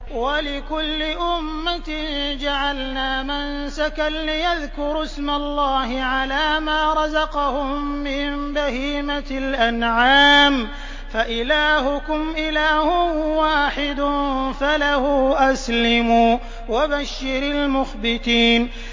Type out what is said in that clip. وَلِكُلِّ أُمَّةٍ جَعَلْنَا مَنسَكًا لِّيَذْكُرُوا اسْمَ اللَّهِ عَلَىٰ مَا رَزَقَهُم مِّن بَهِيمَةِ الْأَنْعَامِ ۗ فَإِلَٰهُكُمْ إِلَٰهٌ وَاحِدٌ فَلَهُ أَسْلِمُوا ۗ وَبَشِّرِ الْمُخْبِتِينَ